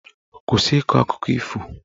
Kwụsị ịkọ akụkọ ifo!